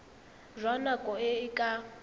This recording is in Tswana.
jwa nako e e ka